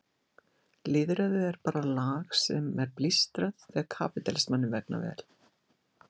Lýðræði er bara lag sem er blístrað þegar kapítalismanum vegnar vel.